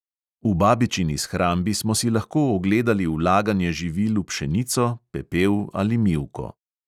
V babičini shrambi smo si lahko ogledali vlaganje živil v pšenico, pepel ali mivko.